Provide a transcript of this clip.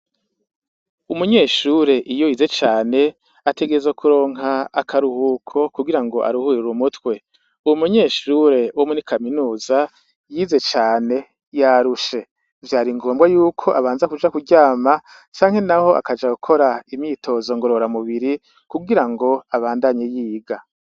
Umunyeshure iyo yize cane, ategerezwa kuronka akaruhuko kugira ngo aruhirire umutwe. Uwo munyeshure wo muri kaminuza yize cane ,yarushe, vyari ngombwa yuko abanza kuja kuryama canke naho akaja gukora imyitozo ngorora mubiri kugirango abandanye yiga.